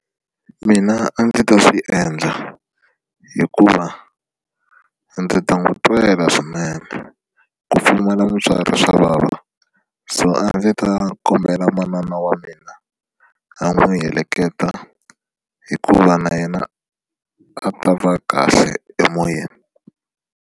Mina a ndzi ta swi endla hikuva a ndzi ta n'wi twela swinene ku pfumala mutswari swa vava so a ndzi ta kombela manana wa mina a n'wi heleketa hikuva na yena a ta va kahle emoyeni.